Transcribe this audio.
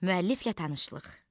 Müəlliflə tanışlıq.